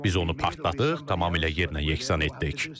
Biz onu partladıq, tamamilə yerlə yeksan etdik.